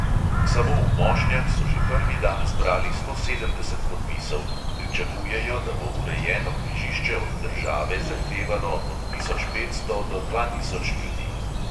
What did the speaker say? Samo v mošnjah so že prvi dan zbrali sto sedemdeset podpisov, pričakujejo, da bo urejeno križišče od države zahtevalo od tisoč petsto do dva tisoč ljudi.